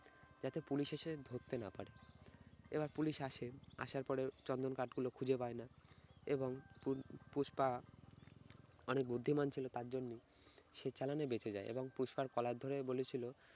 যাতে পুলিশ এসে ধরতে না পারে। এবার পুলিশ আসে আসার পরে চন্দন কাঠগুলো খুজে পায়না এবং পু~ পুষ্পা অনেক বুদ্ধিমান ছিল তার জন্য সে চালানে বেঁচে যায় এবং পুস্পার কলার ধরে বলেছিল-